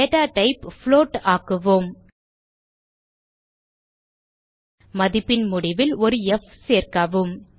data type float ஆக்குவோம் மதிப்பின் முடிவில் ஒரு ப் சேர்க்கவும்